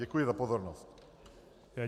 Děkuji za pozornost.